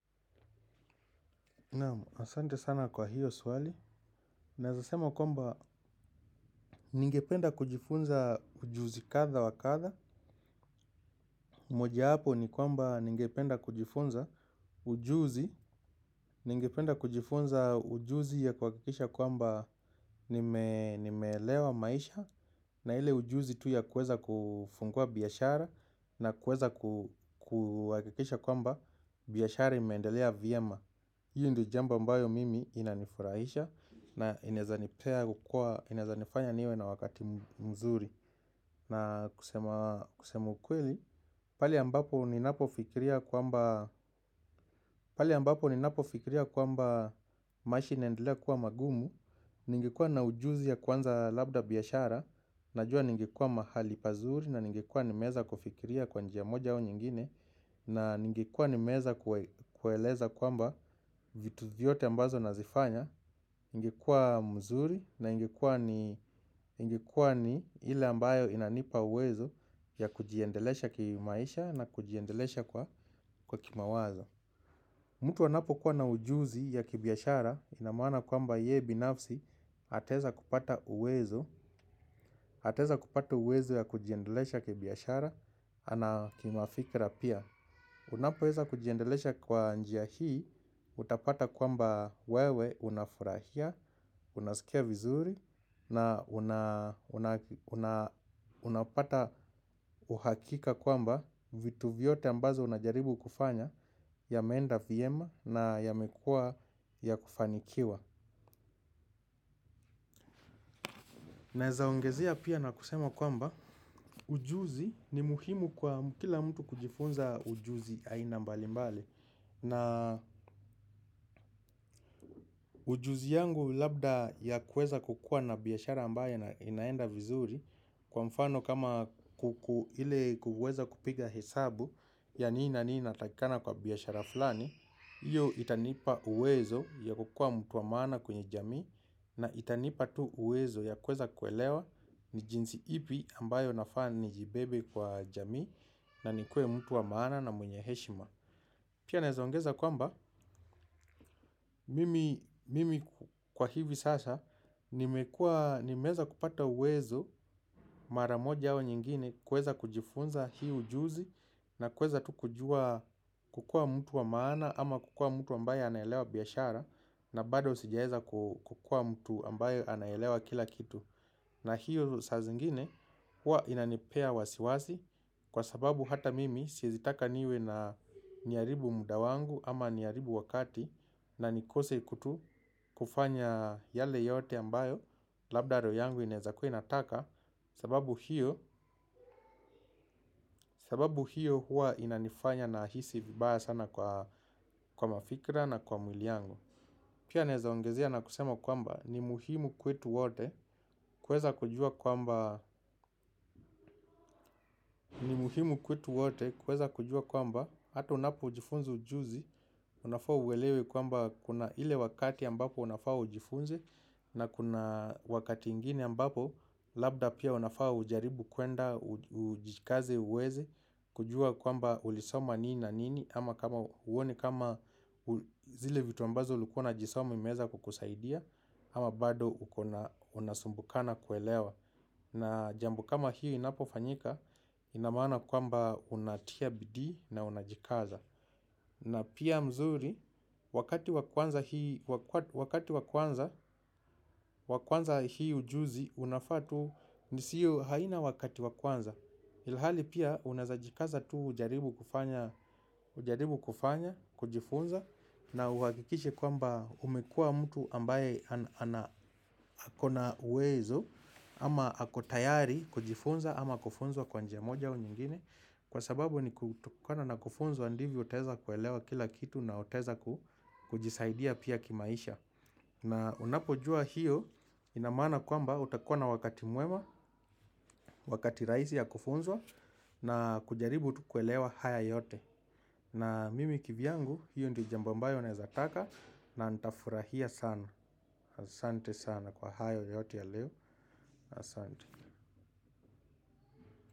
Naam, asante sana kwa hiyo swali. Naeza sema kwamba, ningependa kujifunza ujuzi kadha wa kadha. Moja yapo ni kwamba ningependa kujifunza ujuzi. Ningependa kujifunza ujuzi ya kuhakikisha kwamba nimeelewa maisha. Na ile ujuzi tu ya kuweza kufungua biashara. Na kuweza kuhakikisha kwamba biashara imeendelea vyema. Hiyo ndio jambo ambayo mimi inanifurahisha. Na inaezanipea kukua, inaezanifanya niwe na wakati mzuri. Na kusema kusema ukweli, pale ambapo ni napofikiria kwamba pale ambapo ni napofikiria kwamba maisha inaendelea kuwa magumu. Ningekuwa na ujuzi ya kuanza labda biashara najua ningekuwa mahali pazuri na ningekuwa nimeweza kufikiria kwa njia moja au nyingine. Na ningekuwa nimeweza kueleza kwamba vitu vyote ambazo nazifanya ingekuwa mzuri na ingekuwa ni ile ambayo inanipa uwezo ya kujiendelesha kimaisha na kujiendelesha kwa kwa kimawazo. Mtu anapokuwa na ujuzi ya kibiashara ina maana kwamba yeye binafsi ataweza kupata uwezo, ataweza kupata uwezo ya kujiendelesha kibiashara, na kimafikira pia. Unapoweza kujiendelesha kwa njia hii utapata kwamba wewe unafurahia. Unasikia vizuri. Na unapata uhakika kwamba vitu vyote ambazo unajaribu kufanya yameenda vyema na yamekuwa ya kufanikiwa. Naezaongezea pia na kusema kwamba ujuzi ni muhimu kwa kila mtu kujifunza ujuzi aina mbalimbali na ujuzi yangu labda ya kuweza kukua na biashara ambaye inaenda vizuri kwa mfano kama kukuile kuweza kupiga hesabu ya nini na nini ina takikana kwa biashara fulani iyo itanipa uwezo ya kukua mtu wa maana kwenye jamii na itanipa tu uwezo ya kuweza kuelewa ni jinsi ipi ambayo nafa ni jibebe kwa jamii na ni kue mtu wa maana na mwenye heshima. Pia naeza ongeza kwamba, mimi kwa hivi sasa, nimeweza kupata uwezo mara moja au nyingine kuweza kujifunza hii ujuzi na kuweza tu kujua kukua mtu wa maana ama kukua mtu ambaye anaelewa biashara na bado sijaeza kukua mtu ambaye anaelewa kila kitu. Na hiyo saa zingine huwa inanipea wasiwasi kwa sababu hata mimi siezi taka niwe na niharibu muda wangu ama niharibu wakati na nikose kutu kufanya yale yote ambayo labda roho yangu inawezakuwa inataka sababu hiyo huwa inanifanya na hisi vibaya sana kwa mafikra na kwa mwili yangu. Pia naeza ongezea na kusema kwamba ni muhimu kwetu wote kuweza kujua kwamba hata unapojifunzi ujuzi unafaa uelewe kwamba kuna ile wakati ambapo unafaa ujifunzi na kuna wakati ingine ambapo labda pia unafaa ujaribu kwenda ujikaze uweze kujua kwamba ulisoma nini na nini. Ama kama uone kama zile vitu ambazo ulikuwa unajisoma imeeza kukusaidia. Ama bado unasumbukana kuelewa. Na jambo kama hii inapofanyika ina maana kwamba unatia bidii na unajikaza. Na pia mzuri wakati wa kwanza hii ujuzi unafaa tu nisiyo haina wakati wakwanza ilhali pia unajikaza tu ujaribu kufanya kujifunza na uhakikishe kwamba umekua mtu ambaye akona uwezo ama akotayari kujifunza ama kufunzwa kwa njia moja u nyingine kwa sababu ni kutokona na kufunzwa ndivyo teza kuelewa kila kitu na oteza ama akotayari kujifunza ama kufunzwa kwanjia moja u nyingine kwa sababu ni kutokona na kufunzwa ndivyo teza kuelewa kila kitu na oteza kujisaidia pia kimaisha na unapojua hiyo inamana kwamba utakona wakati muema wakati raisi ya kufunzwa na kujaribu tu kuelewa haya yote na mimi kivyangu hiyo ndi jambambayo nezataka.